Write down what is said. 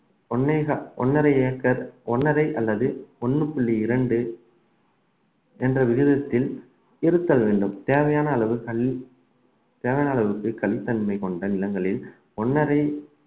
ஒன்னேக~ ஒன்னரை ஏக்கர் ஒன்னரை அல்லது ஒண்ணு புள்ளி இரண்டு என்ற விகிதத்தில் இருத்தல் வேண்டும் தேவையான அளவு கல் தேவையான அளவுக்கு கலித்தன்மை கொண்ட நிலங்களில் ஒன்னரை